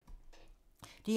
DR2